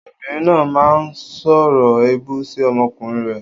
Obìnrin náà máa ń sọ̀rọ̀ èébú sí ọmọkùnrin rẹ̀.